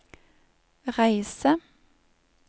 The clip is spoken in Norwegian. reise